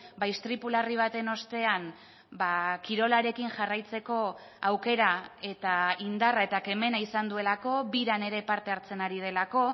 bai istripu larri baten ostean kirolarekin jarraitzeko aukera eta indarra eta kemena izan duelako biran ere parte hartzen ari delako